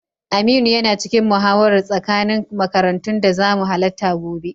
Aminu yana cikin muhawarar tsakanin makarantun da zamu halatta gobe.